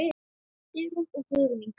Sigrún og Guðrún Inga.